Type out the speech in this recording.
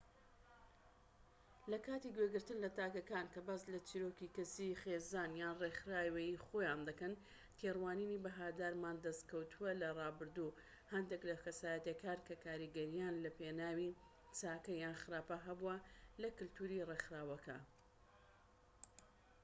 لە کاتی گوێگرتن لە تاکەکان کە باس لە چیرۆکی کەسی خێزان یان ڕێکخراوەیی خۆیان دەکەن تێڕوانینی بەهادارمان دەست کەوتووە لە ڕابردوو و هەندێک لە کەسایەتیەکان کە کاریگەریان لە پێناوی چاکە یان خراپە هەبووە لە کەلتوری ڕێکخراوەکە